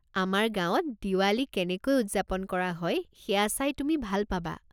আমাৰ গাঁৱত দিৱালী কেনেকৈ উদযাপন কৰা হয় সেয়া চাই তুমি ভাল পাবা।